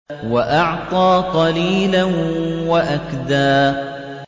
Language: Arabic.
وَأَعْطَىٰ قَلِيلًا وَأَكْدَىٰ